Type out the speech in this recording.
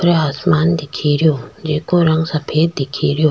ऊपरे आसमान दिखे रियो जेको रंग सफ़ेद दिखे रियो।